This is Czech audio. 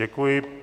Děkuji.